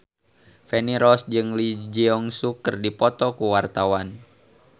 Feni Rose jeung Lee Jeong Suk keur dipoto ku wartawan